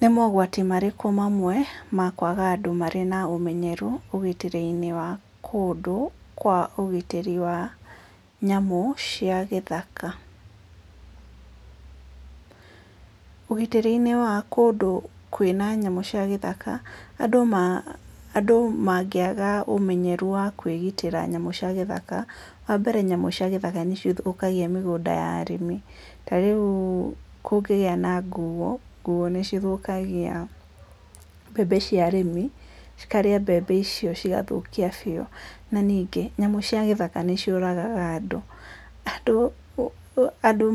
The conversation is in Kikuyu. Nĩ mogwati marĩkũ mamwe ma kwaga andũ marĩ na ũmenyeru ũgitĩri-inĩ wa kũndũ kwa ũgitĩri wa nyamũ cia gĩthaka? Ũgitĩri wa kũndũ kwĩna nyamũ cia gĩthaka, andũ mangĩaga ũmenyeru wa kwĩgitĩra nyamũ cia gĩthaka wa mbere nyamũ cia gĩthaka nĩ cithũkagia mĩgũnda ya arĩmi, ta rĩu kũngĩgĩa na nguuũ, nguuũ nĩ cithũkagia mbembe cia arĩmi, cikarĩa mbembe icio cigathũkia biũ na ningĩ nyamũ cia gĩthaka nĩ ciũragaga andũ, andũ